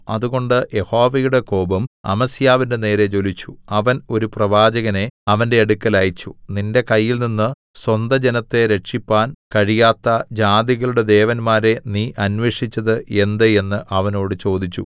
അതുകൊണ്ട് യഹോവയുടെ കോപം അമസ്യാവിന്റെ നേരെ ജ്വലിച്ചു അവൻ ഒരു പ്രവാചകനെ അവന്റെ അടുക്കൽ അയച്ച് നിന്റെ കയ്യിൽനിന്ന് സ്വന്തജനത്തെ രക്ഷിപ്പാൻ കഴിയാത്ത ജാതികളുടെ ദേവന്മാരെ നീ അന്വേഷിച്ചത് എന്ത് എന്ന് അവനോട് ചോദിച്ചു